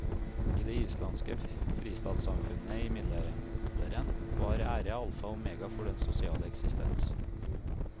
I det islandske fristatssamfunnet i middelalderen var ære alfa og omega for den sosiale eksistens.